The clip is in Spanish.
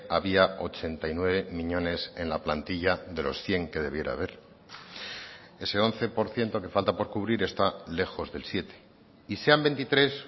había ochenta y nueve miñones en la plantilla de los cien que debiera haber ese once por ciento que falta por cubrir está lejos del siete y sean veintitrés